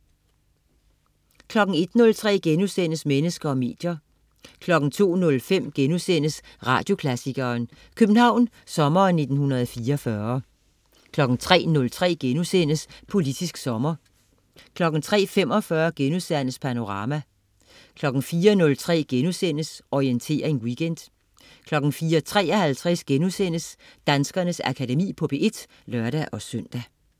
01.03 Mennesker og medier* 02.05 Radioklassikeren: København sommeren 1944* 03.03 Politisk Sommer* 03.45 Panorama* 04.03 Orientering Weekend* 04.53 Danskernes Akademi på P1* (lør-søn)